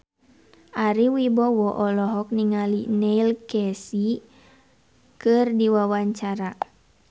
Ari Wibowo olohok ningali Neil Casey keur diwawancara